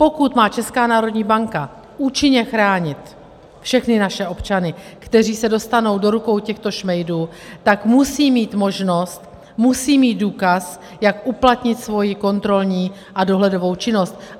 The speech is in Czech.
Pokud má Česká národní banka účinně chránit všechny naše občany, kteří se dostanou do rukou těchto šmejdů, tak musí mít možnost, musí mít důkaz, jak uplatnit svoji kontrolní a dohledovou činnost.